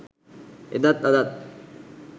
එදත් අදත්